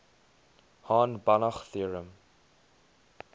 hahn banach theorem